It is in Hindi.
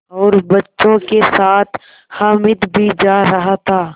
और बच्चों के साथ हामिद भी जा रहा था